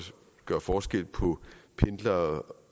gøre forskel på pendlere